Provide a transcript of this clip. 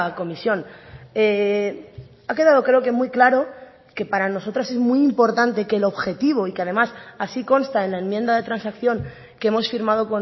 comisión ha quedado creo que muy claro que para nosotras es muy importante que el objetivo y que además así consta en la enmienda de transacción que hemos firmado